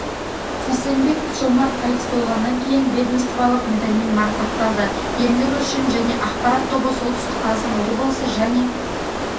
сарсенбеков жомарт қайтыс болғаннан кейін ведомстволық медальмен марапатталды ерлігі үшін және ақпарат тобы солтүстік қазақстан облысы және